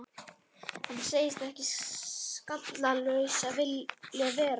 Hann segist ekki skallalaus vilja vera.